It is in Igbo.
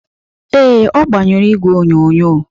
Ee, ọ gbanyụrụ igwe onyonyo